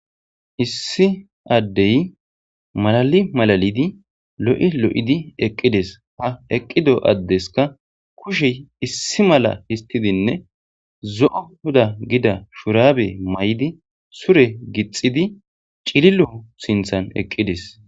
Issi addey malali malalidi lo'i lo'idi eqqides ha eqqido addeska kushey issi mala histidinne zo'o gina gida shurabe mayidi sure gixxidi cililo sinththan eqqides.